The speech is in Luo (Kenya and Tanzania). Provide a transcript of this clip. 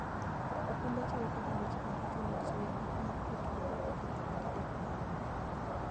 okumba chiwo kony e weche mag chulo osuru ma otudore gi ketho kata deko mar wuoth.